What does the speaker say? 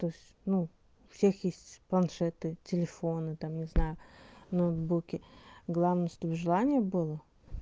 то есть ну у всех есть планшеты телефоны там не знаю ноутбуки главное чтобы желание было